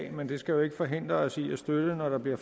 af men det skal jo ikke forhindre os i at støtte når der bliver